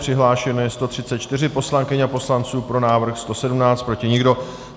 Přihlášeno je 134 poslankyň a poslanců, pro návrh 117, proti nikdo.